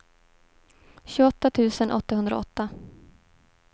tjugoåtta tusen åttahundraåtta